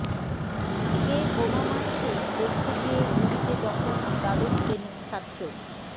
কে বোমা মারছে দেখতে গিয়ে গুলিতে জখম দ্বাদশ শ্রেণির ছাত্র